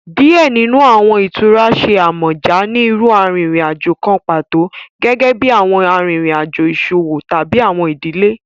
Diẹ ninu awọn itura ṣe amọja ni iru arinrin-ajo kan pato, gẹgẹbi awọn arinrin-ajo iṣowo tabi awọn idile.